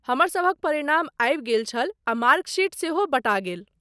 हमरसभक परिणाम आबि गेल छल आ मार्क शीट सेहो बँटा गेल।